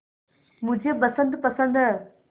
मुझे बसंत पसंद है